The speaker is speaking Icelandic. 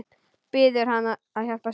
Biður hann að hjálpa sér.